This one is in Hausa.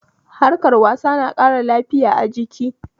Harkar wasa na ƙara lafiya a jiki